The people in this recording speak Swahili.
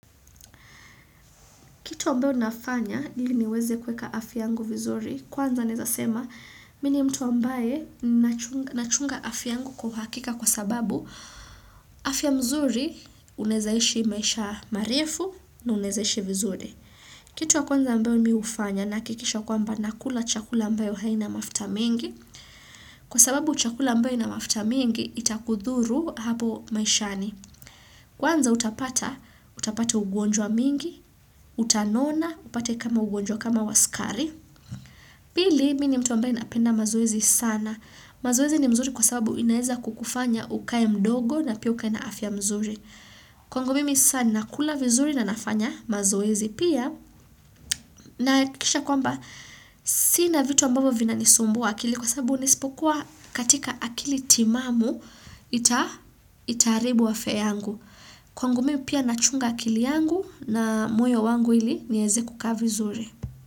Kitu ambayo nafanya, ili niweze kuweka afya yangu vizuri, kwanza naezasema, mi ni mtu ambaye nachunga afya yangu kwa uhakika kwa sababu afya mzuri unaezaishi maisha marefu na unaezaishi vizuri. Kitu ya kwanza ambayo mi hufanya nahakikisha kwamba nakula chakula ambayo wa haina mafuta mingi, kwa sababu chakula ambayo ina mafuta mingi itakudhuru hapo maishani. Kwanza utapata, utapata ugonjwa mingi, utanona, upate kama ugonjwa kama wasukari. Pili, mini mtu ambae napenda mazoezi sana. Mazoezi ni mzuri kwa sababu inaeza kukufanya ukae mdogo na pia ukae na afya mzuri. Kwangu mimi sana, kula vizuri na nafanya mazoezi pia. Nahakikisha kwamba, sina vitu ambavo vina nisumbua akili kwa sababu nisipokuwa katika akili timamu, itaaribu afya yangu. Kwangu mimi pia nachunga akili yangu na moyo wangu ili nieze kukaa vizuri.